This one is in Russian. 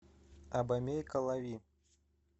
абомей калави